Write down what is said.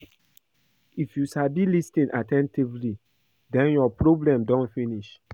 If you sabi lis ten at ten tively den your problem don finish